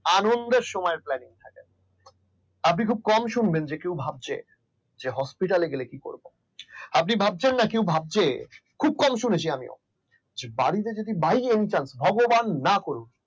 আনন্দের সময়ের planning থাকে আমাদের আপনি খুব কম শুনবেন যে কেউ ভাবছে hospital গেলে কি করব আপনি ভাবছেন না কেউ ভাবছে খুব কম শুনেছি আমিও বাড়িটা যদি বাইরে নিতাম ভগবান না করুক